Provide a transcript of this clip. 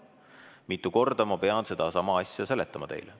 Mitu korda ma pean sedasama asja teile seletama?